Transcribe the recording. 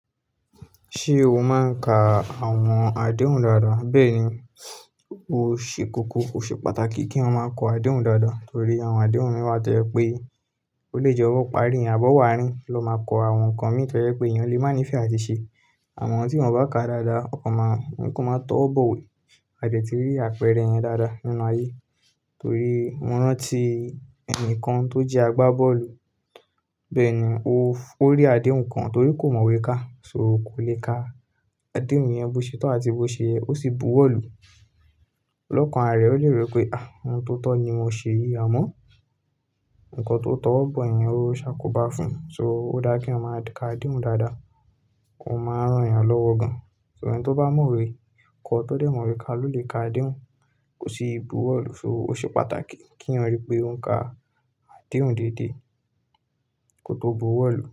Ṣé o máa ń ka àwọn àdéhùn dáadáa? Bẹ́ẹ̀ ni, ó ṣe kókó. Ó ṣe pàtàkì kí yan máa kọ àdéhùn dáadáa torí àwọn àdéhùn mi wá tó yẹ pé olè je owo parí, àbọ̀wo aarí n lọ máa kọ àwọn nǹkan mì tọ yẹ pé èèyàn lè mánífẹ́ àti ṣe. Àwọn tí wọ́n bá ka dáadáa, wọn kàn máa wọn kàn máa tọ́wo bọ̀ we, a de ti rí àpẹẹrẹ yẹn dáadáa nínú ayé. Torí mo rántí ẹnìkan tó jẹ́ agbábọ́ọ̀lù, bẹ́ẹ̀ ni ó rí àdéhùn kan torí kò mọ̀ wé ká. So o kò le ka àdéhùn yẹn bó ṣe tor àti bó ṣe yẹ, ó sì buwọ́ọ̀lù. Lọ́kàn aré, ó lè ro pé, ah! Ohun tó tọ́ ni mo ṣe yìí, àmọ́ nǹkan tó tọ̀wobo yen ó ṣàkóbá fún. So ó dá kí eyan máa ka àdéhùn dáadáa, ò máa rán èèyàn lọ́wọ́ gan. Ṣùgbọ́n ẹni tó bá mọwé kọ, tó dẹ̀ mọwé ká ló lè ka àdéhùn, kò sì buwọ́ọ̀lù. So ó ṣe pàtàkì kí èèyàn ríi pé ó ń ka àdéhùn dédé, kó tó buwọ́ọ̀lù.